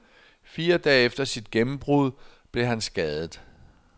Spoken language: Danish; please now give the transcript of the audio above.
Fire dage efter sit gennembrud blev han skadet.